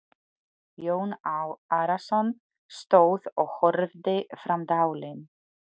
Jón Arason stóð og horfði fram dalinn.